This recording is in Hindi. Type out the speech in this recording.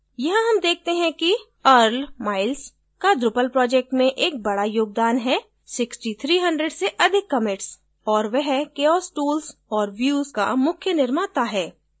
यहाँ हम देखते हैं कि earl miles का drupal project में एक बडा योगदान है6300 से अधिक commitsऔर वह chaos tools और views का मुख्य निर्माता है